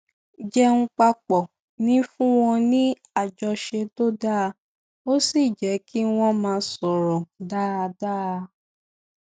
jẹun papọ ń fún wọn ní àjọṣe tó dáa ó sì jé kí wón máa sọrọ dáadáa